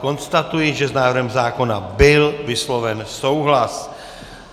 Konstatuji, že s návrhem zákona byl vysloven souhlas.